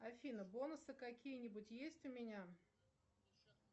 афина бонусы какие нибудь есть у меня